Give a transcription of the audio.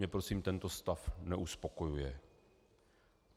Mě prosím tento stav neuspokojuje.